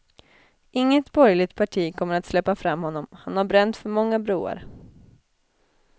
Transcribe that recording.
Inget borgerligt parti kommer att släppa fram honom, han har bränt för många broar.